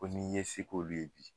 Ko ni ye se k'olu ye bi